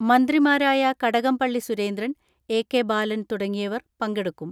മന്ത്രിമാരായ കടകംപള്ളി സുരേന്ദ്രൻ, എ.കെ.ബാ ലൻ തുടങ്ങിയവർ പങ്കെടുക്കും.